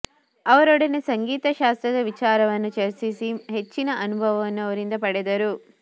ಅವರೊಡನೆ ಸಂಗೀತ ಶಾಸ್ತ್ರದ ವಿಚಾರವನ್ನು ಚರ್ಚಿಸಿ ಹೆಚ್ಚಿನ ಅನುಭವವನ್ನು ಅವರಿಂದ ಪಡೆದರು